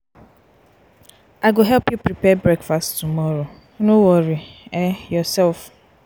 i go help you prepare breakfast tomorrow no worry um yoursef.